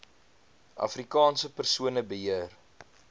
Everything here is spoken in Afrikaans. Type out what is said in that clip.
afrikaanse persone beheer